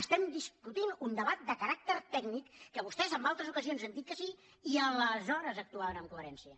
estem discutint un debat de caràcter tècnic que vostès en altres ocasions han dit que sí i aleshores actuaven amb coherència